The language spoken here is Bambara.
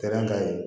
Kɛra an ta ye